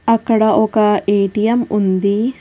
అక్కడ ఒక ఏటీఎం ఉంది.